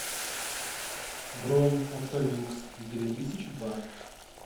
бронь автолюкс две тысячи два